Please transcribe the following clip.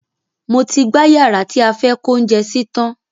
Mo ti gbá yàrá tí a fẹ́ kó oúnjẹ sí tan